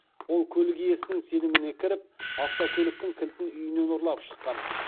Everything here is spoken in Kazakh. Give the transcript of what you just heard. ол көлік иесінің сеніміне кіріп автокөліктің кілтін үйінен ұрлап шыққан